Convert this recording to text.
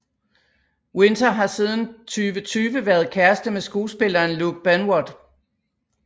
Winter har siden 2020 været kæreste med skuespilleren Luke Benward